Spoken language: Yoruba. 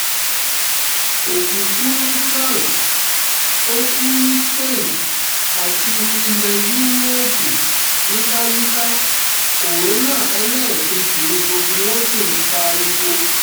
òkú kú ní france ó kú ní spain àti ilẹ̀ yúróòpù yíkáyíká kòránà ẹlẹ́ẹ̀kejì ni gbogbo wọn sì ń pariwo